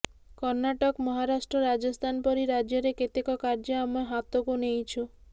କର୍ଣ୍ଣାଟକ ମହାରାଷ୍ଟ୍ର ରାଜସ୍ଥାନ ପରି ରାଜ୍ୟରେ କେତେକ କାର୍ଯ୍ୟ ଆମେ ହାତକୁ ନେଇଛୁ